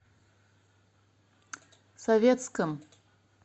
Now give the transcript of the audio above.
советском